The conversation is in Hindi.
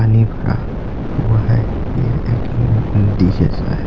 नी भरा हुआ है यह एक डी जैसा है।